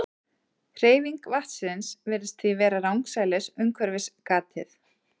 Hreyfing vatnsins virðist því vera rangsælis umhverfis gatið.